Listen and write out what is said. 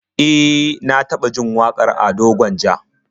E, na taba jin wakar Ado Gwanja